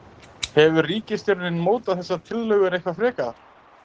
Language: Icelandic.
Hefur ríkisstjórnin mótað þessar tillögur frekar?